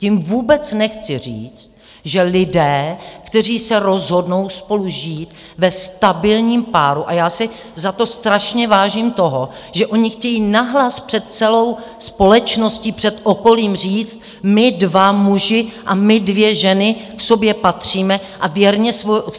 Tím vůbec nechci říct, že lidé, kteří se rozhodnou spolu žít ve stabilním páru, a já si za to strašně vážím toho, že oni chtějí nahlas před celou společností, před okolím říct: My dva muži a my dvě ženy k sobě patříme a věrně